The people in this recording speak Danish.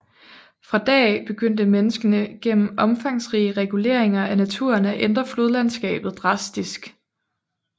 Fra da af begyndte menneskene gennem omfangsrige reguleringer af naturen at ændre flodlandskabet drastisk